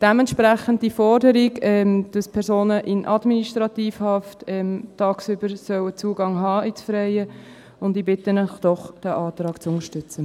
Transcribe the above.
Dem entspricht die Forderung, dass Personen in Administrativhaft tagsüber Zugang ins Freie haben sollen, und ich bitte Sie, diesen Antrag zu unterstützen.